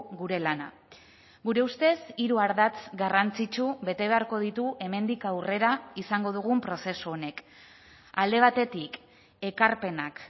gure lana gure ustez hiru ardatz garrantzitsu bete beharko ditu hemendik aurrera izango dugun prozesu honek alde batetik ekarpenak